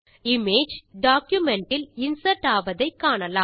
image document இல் insert ஆவதை காணலாம்